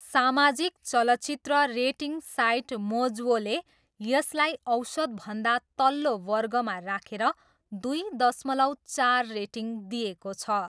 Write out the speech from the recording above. सामाजिक चलचित्र rating site मोजवोले यसलाई 'औसतभन्दा तल्लो' वर्गमा राखेर दुई दशमलव चार रेटिङ दिएको छ।